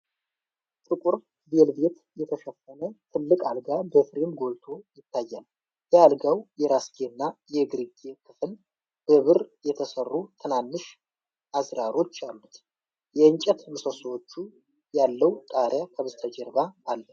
ጥቁር ቬልቬት የተሸፈነ ትልቅ አልጋ በፍሬም ጎልቶ ይታያል። የአልጋው የራስጌ እና የእግርጌ ክፍል በብር የተሰሩ ትናንሽ አዝራሮች አሉት። የእንጨት ምሰሶዎች ያለው ጣሪያ ከበስተጀርባ አለ።